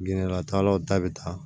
Ginɛlatalaw ta bɛ taa